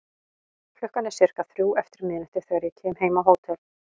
Klukkan er sirka þrjú eftir miðnætti þegar ég kem heim á hótel.